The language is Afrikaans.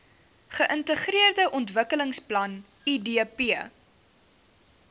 geintegreerde ontwikkelingsplan idp